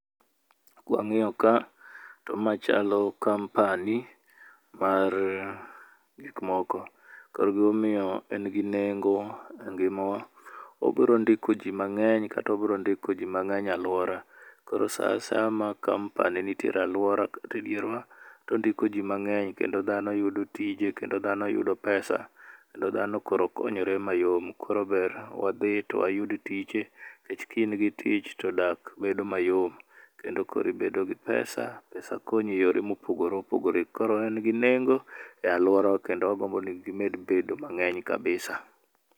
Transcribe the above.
Kwangíyo ka to ma chalo company mar gik moko. Kor gima omiyo en gi nengo e ngimawa, obiro ndiko ji ma ngény, kata obiro ndiko ji mangény e alwora. Koro sa a saya ma company nitiere e alwora, kata e dierwa, to ondiko ji mangény kendo dhano yudo tije, kendo dhano yudo pesa. Kendo dhano koro konyore mayom. Koro ber wadhi to wayudo tije, nikech ka in gi tich ti dak bedo mayom. Kendo koro ibedo gi pesa. Pesa konyi e yore mopogore opogore. Koro en gi nengo e alworawa, kendo wagombo ni gimed bedo mangény kabisa.